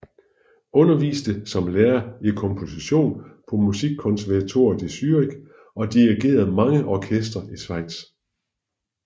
Underviste som lærer i komposition på Musikkonservatoriet i Zürich og dirigerede mange orkestre i Schweiz